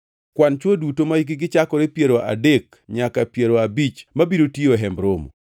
Kwan chwo duto mahikgi chakore piero adek nyaka piero abich mabiro tiyo e Hemb Romo.